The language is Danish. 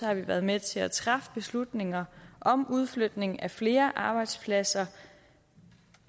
har vi været med til at træffe beslutninger om udflytning af flere arbejdspladser